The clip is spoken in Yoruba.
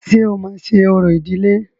Ṣé o máa ṣe orò ìdiĺé?